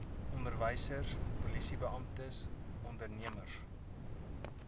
onderwysers polisiebeamptes ondernemers